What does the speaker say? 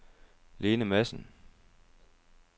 Lene Madsen